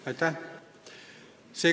Aitäh!